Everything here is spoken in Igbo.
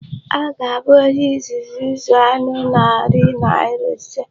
Ọ ga-abụ onye izizi ịzụ anụ narị naira ise.